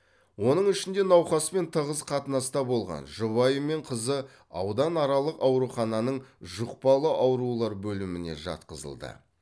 оның ішінде науқаспен тығыз қатынаста болған жұбайы мен қызы ауданаралық аурухананың жұқпалы аурулар бөліміне жатқызылды